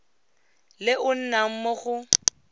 le o nnang mo go